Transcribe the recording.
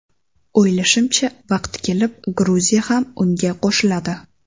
O‘ylashimcha, vaqti kelib Gruziya ham unga qo‘shiladi.